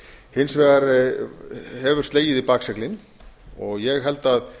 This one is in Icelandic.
hins vegar hefur slegið í bakseglin ég held að